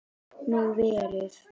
Gat nú verið!